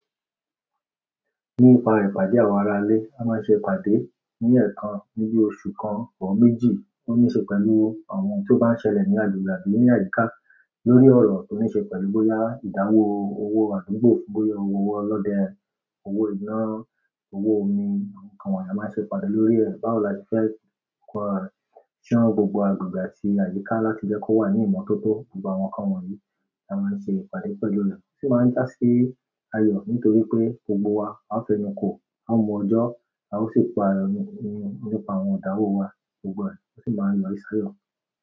Nípa ìpàdé àwọn ará ilé, a máa ń ṣe ìpàdé ní ẹ̀ẹ̀kan níbi oṣù kan ọ̀ọ́ méjì, ó níí ṣe pẹ̀lú àwọn ohun tó bá ń ṣẹlẹ̀ ní àdúgbà bíi ní àyíká lórí ọ̀rọ̀ tó níí ṣe pẹ̀lú bóyá ìdáwó owó àdúgbò, bóyá owó ọlọ́dẹ, owó iná, owó omi àwọn nǹkan wọ̀nyí a máa ń ṣe ìpàdé lórí ẹ̀. Báwo la ti fẹ́ pa ṣán gbogbo àdúgbà tí àyíká láti jẹ́ kó wà ní ìmọ́tótó gbogbo àwọn nǹkan wọ̀nyí la máa ń ṣe ìpàdé pẹ̀lú rẹ̀. Ó sì máa ń jásí ayọ̀ nítorí pé gbogbo wa á fẹnu kò, á mu ọjọ́, a ó sì pa nípàá àwọn ìdáwó wa gbogbo rẹ̀ ó sì máa ń yọrí sí ayọ̀.